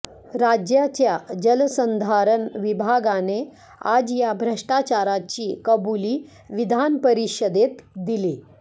राज्याच्या जलसंधारण विभागाने आज या भ्रष्टाचाराची कबुली विधानपरिषदेत दिली